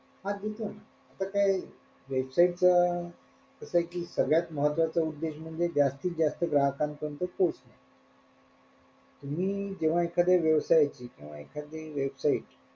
हा ठीके ना पण ते website च कसंय कि सगळ्यात महत्वाचा उद्देश म्हणजे जास्तीत जास्त ग्राहकांपरीयंत पोहोचणे तुम्ही जेव्हा एखाद्या व्यवसायाची किंवा एखादी website